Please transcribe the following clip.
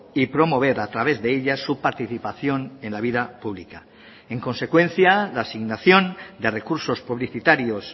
y promover a través de ella su participación en la vida pública en consecuencia la asignación de recursos publicitarios